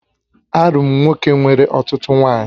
Arụ m nwoke nwere ọtụtụ nwaanyị